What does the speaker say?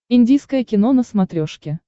индийское кино на смотрешке